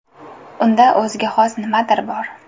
Unda o‘ziga xos nimadir bor”.